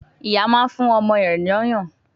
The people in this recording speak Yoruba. Ìyá máa ń fún ọmọ rẹ̀ l'ọ́yàn